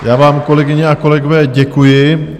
Já vám, kolegyně a kolegové, děkuji.